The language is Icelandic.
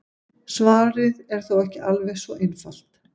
Svarið er þó ekki alveg svo einfalt.